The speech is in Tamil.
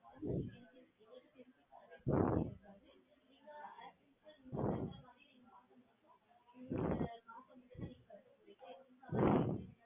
ஆஹ்